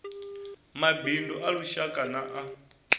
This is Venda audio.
mabindu a lushaka na a